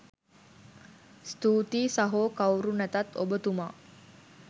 ස්තූතියි සහෝ කවුරු නැතත් ඔබ තුමා